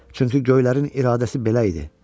Çünki göylərin iradəsi belə idi.